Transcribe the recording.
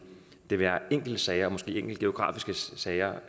det være enkeltsager måske enkelte geografiske sager